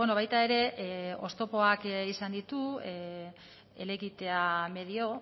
baita ere oztopoak izan ditu helegitea medio